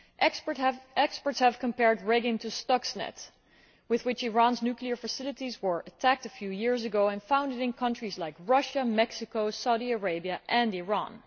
Experts have compared Regin to Stuxnet, with which Iran's nuclear facilities were attacked a few years ago, and found it in countries like Russia, Mexico, Saudi Arabia and Iran.